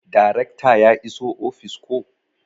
Darekta ya iso ofis koh?